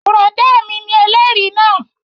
Bùrọ̀dá mi ni ẹlẹ́rìí náà